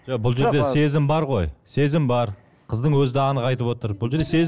жоқ бұл жерде сезім бар ғой сезім бар қыздың өзі де анық айтып отыр бұл жерде